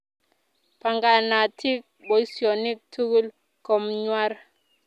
Panganatin poisyonik tukul komnyr